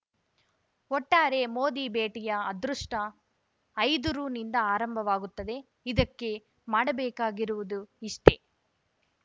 ಒಟ್ಟಾರೆ ಮೋದಿ ಭೇಟಿಯ ಅದೃಷ್ಟಐದು ರುನಿಂದ ಆರಂಭವಾಗುತ್ತದೆ ಇದಕ್ಕೆ ಮಾಡಬೇಕಾಗಿರುವುದು ಇಷ್ಟೆ